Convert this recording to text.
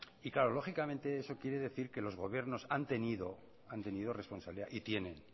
y claro lógicamente eso quiere decir que los gobiernos han tenido responsabilidad y tienen